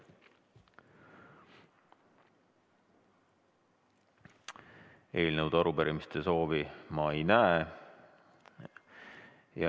Eelnõude ja arupärimiste soovi ma ei näe.